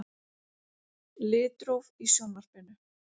Litróf í Sjónvarpinu.